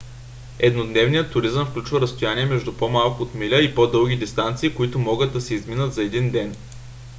еднодневният туризъм включва разстояния между по-малко от миля и по-дълги дистанции които могат да се изминат за един ден